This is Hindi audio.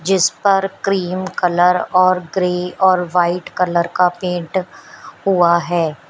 जिस पर क्रीम कलर और ग्रे और व्हाइट कलर का पेंट हुआ है।